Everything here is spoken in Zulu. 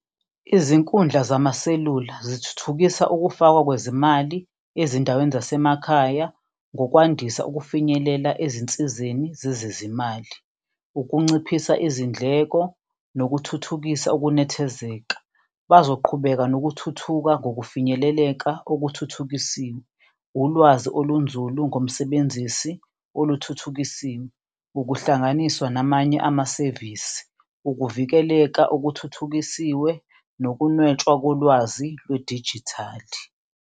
Izinkundla zamaselula zithuthukisa ukufakwa kwezimali ezindaweni zasemakhaya ngokwandisa ukufinyelela ezinsizeni zezezimali, ukunciphisa izindleko nokuthuthukisa ukunethezeka. Bazoqhubeka nokuthuthuka kokufinyeleleka okuthuthukisiwe, ulwazi olunzulu ngomsebenzisi oluthuthukisiwe, ukuhlanganiswa namanye amasevisi, ukuvikeleka okuthuthukisiwe nokunwetshwa kolwazi lwedijithali.